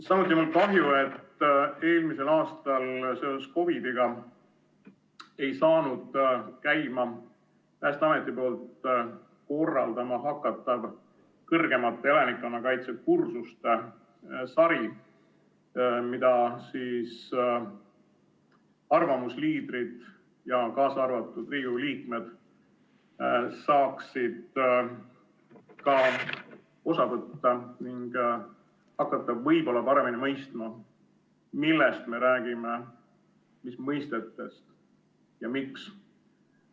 Samuti on mul kahju, et eelmisel aastal seoses COVID‑iga ei saanud käima Päästeameti korraldatav kõrgemate elanikkonnakaitse kursuste sari, millest arvamusliidrid, kaasa arvatud Riigikogu liikmed, saaksid osa võtta ning hakata võib-olla paremini mõistma, millest me räägime, mis mõistetest ja miks.